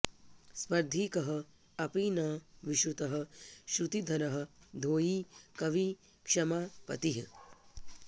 स्पर्धी कः अपि न विश्रुतः श्रुतिधरः धोयी कवि क्ष्मा पतिः